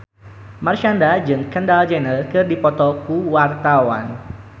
Marshanda jeung Kendall Jenner keur dipoto ku wartawan